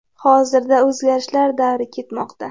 Hozirda o‘zgarishlar davri ketmoqda.